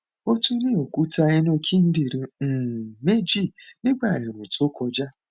ó tún ní òkúta inú kíndìnrín um méjì nígbà ẹẹrùn tó kọjá